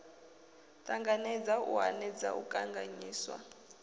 ṱanganedza u hanedza u kanganyisa